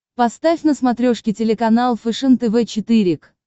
поставь на смотрешке телеканал фэшен тв четыре к